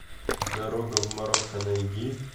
дорога в марокко найди